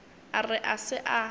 a re a se a